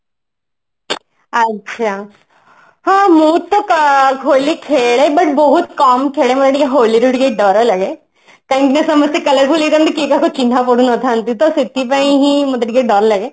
ଆଚ୍ଛା ହେଲେ ମୁଁ ତ ହୋଲି ଖେଳେ but ବହୁତ କମ ଖେଳେ ମାନେ ହୋଲି ରୁ ଟିକେ ଡରଲାଗେ କହିକି ନା ସମସ୍ତେ color ବୋଳି ହେଇଥାନ୍ତି କିଏ କାହା ସହିତ ଚିହ୍ନା ପଡିନଥାନ୍ତି ତ ସେଥିପାଇଁ ହିଁ ମତେ ଟିକେ ଡର ଲାଗେ